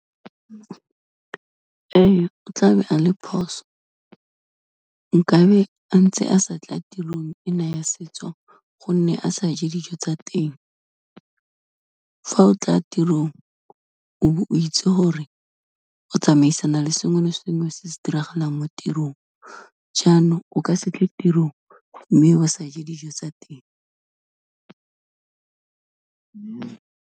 Ee, o tla be a le phoso, nkabe a ntse a sa tla tirong e na ya setso gonne a sa je dijo tsa teng, fa o tla tirong o be o itse gore, o tsamaisana le sengwe le sengwe se se diragalang mo tirong, jaanong o ka se tle tirong mme oa sa je dijo tsa teng.